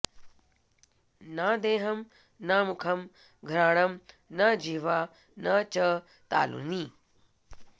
न देहं न मुखं घ्राणं न जिह्वा न च तालुनी